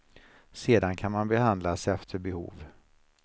Sedan kan man behandlas efter behov.